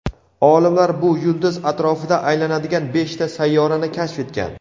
olimlar bu yulduz atrofida aylanadigan beshta sayyorani kashf etgan.